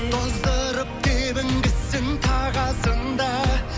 тоздырып тебінгісін тағасын да